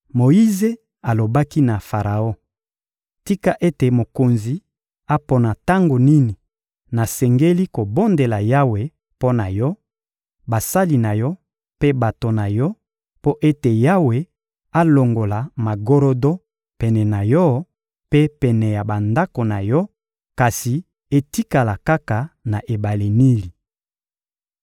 Moyize alobaki na Faraon: — Tika ete mokonzi apona tango nini nasengeli kobondela Yawe mpo na yo, basali na yo mpe bato na yo, mpo ete Yawe alongola magorodo pene na yo mpe pene ya bandako na yo; kasi etikala kaka na ebale Nili.